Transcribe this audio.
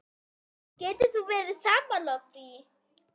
Getur þú verið sammála því?